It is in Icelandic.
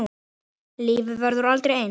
Lífið verður aldrei eins.